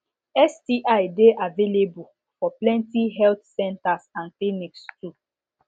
sti de available for plenty health centers and clinics too